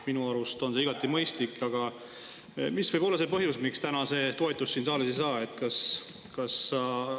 Minu arust on see igati mõistlik, aga mis võib olla see põhjus, miks see täna siin saalis toetust ei saa?